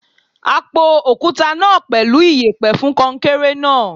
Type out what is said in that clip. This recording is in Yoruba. A po òkúta náà pẹ̀lú iyẹ̀pẹ̀ fún kọnkéré náà.